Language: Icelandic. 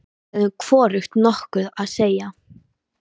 Við höfðum hvorugt nokkuð að segja.